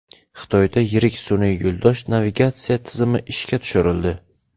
Xitoyda yirik sun’iy yo‘ldosh navigatsiya tizimi ishga tushirildi.